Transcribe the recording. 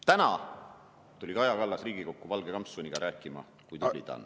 Täna tuli Kaja Kallas Riigikokku valge kampsuniga rääkima, kui tubli ta on.